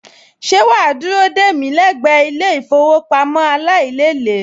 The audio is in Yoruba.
Ṣé wà á dúró dè mí lẹ́gbẹ̀ẹ́ ilé-ìfowópamọ́ aláìlékèé